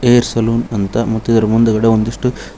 peer salon ಅಂತ ಮತ್ತ ಇದರ ಮುಂದ್ಗಡೆ ಒಂದಿಷ್ಟು--